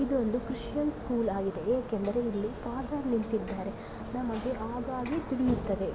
ಇದು ಒಂದು Christian school ಆಗಿದೆ ಏಕೆಂದರೆ ಇಲ್ಲಿ ಫಾದರ್ ನಿಂತಿದ್ದಾರೆ ನಮಗೆ ಹಾಗಾಗಿ ತಿಳಿಯುತ್ತದೆ.